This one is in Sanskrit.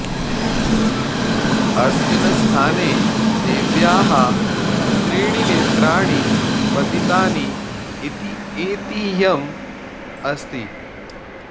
अस्मिन् स्थाने देव्याः त्रीणि नेत्राणि पतितानि इति ऐतिह्यम् अस्ति